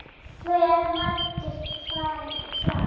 Hve margir fara fram?